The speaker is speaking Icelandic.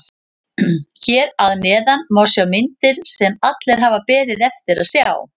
Hér að neðan má sjá myndir sem allir hafa beðið eftir að sjá.